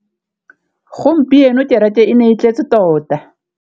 Gompieno kêrêkê e ne e tletse tota.